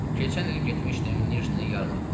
Keçən il getmişdim Nijni Yarmarkasına.